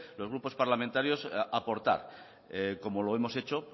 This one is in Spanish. los grupos parlamentarios aportar como lo hemos hecho